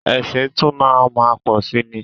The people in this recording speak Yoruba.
Ẹ̀sìn tún máa má pọ̀si ni.